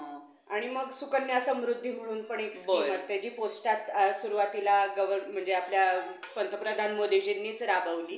आणि मग सुकन्या समृद्धी म्हणून पण एक skim असते जी पोस्टात सुरुवातीला government आपल्या पंतप्रधान मोदीजींनीच राबवली.